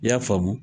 I y'a faamu